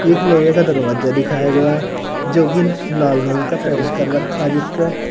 एक लोहे का दरवाजा दिखाया गया जो की लाल रंग का पेंट कर रखा जिसपे--